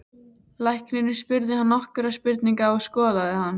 Læknirinn spurði hann nokkurra spurninga og skoðaði hann.